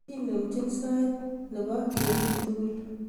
Kinempchini sait nebo kemi tugul